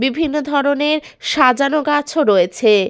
বিভিন্ন ধরণের সাজানো গাছও রয়েছে-এ।